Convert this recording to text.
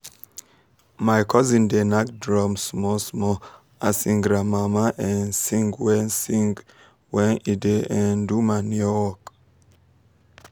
my cosin da nak drum small small as him granmama da um sing wen sing wen e da um do manure work